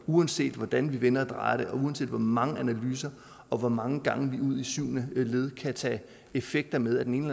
uanset hvordan vi vender og drejer det og uanset hvor mange analyser og hvor mange gange vi ud i syvende led kan tage effekter med af den ene